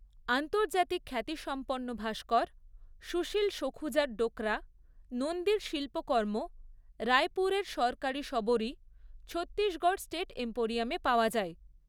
আন্তর্জাতিক খ্যাতিসম্পন্ন ভাস্কর, সুশীল সখুজার ডোকরা, নন্দীর শিল্পকর্ম, রাইপুরের সরকারী শবরী, ছত্তিশগড় স্টেট এম্পোরিয়ামে পাওয়া যায়।